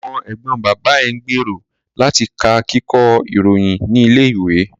Ọmọ ẹ̀gbọ́n bàbá ẹ̀ ń gbèrò láti ka Kíkọ́ ìròyìn ní ilé ìwé